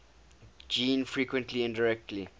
gene frequency indirectly